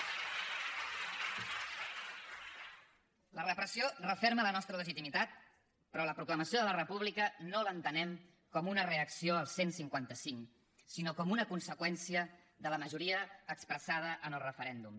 la repressió referma la nostra legitimitat però la proclamació de la república no l’entenem com una reacció al cent i cinquanta cinc sinó com una conseqüència de la majoria expressada en el referèndum